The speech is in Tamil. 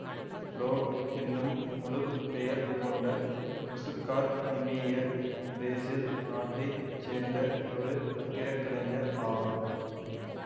ஃபிலோ என்னும் முழு பெயர் கொண்ட ஒசுக்கார் நிமேயெர் பிரேசில் நாட்டை சேர்ந்த ஒரு கட்டிடக்கலைஞர் ஆவார்